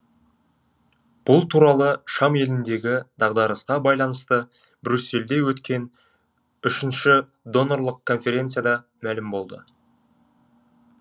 бұл туралы шам еліндегі дағдарысқа байланысты брюссельде өткен үшінші донорлық конференцияда мәлім болды